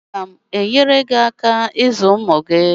Aga m enyere gị aka ịzụ ụmụ gị.